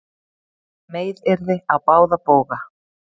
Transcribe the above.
Meiðyrði á báða bóga